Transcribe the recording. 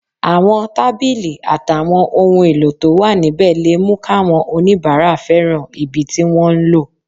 Àwọn tábìlì àtàwọn ohun èlò tó wà níbẹ̀ lè mú káwọn oníbàárà fẹ́ràn ibi tí wọ́n ń lò